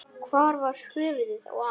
Hvar var höfuðið á Ara?